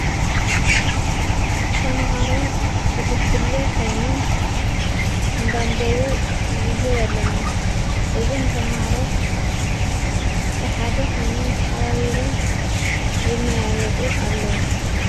እተመሃሮ ብጕጅለ ኾይኖም እንዳንበቡ ምዕዘብ ኣለና እዞም ተምሃሮ ብሓደ ኾይኖም ተሓባቢሮም ይመያዮጡ ኣለዉ።